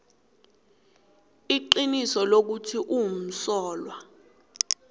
iqiniso lokuthi umsolwa